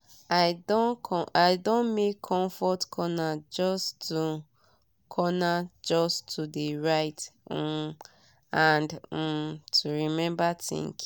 i don make comfort corner just to corner just to de write um and um to remember thinking.